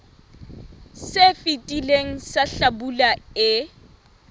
se fetileng sa hlabula e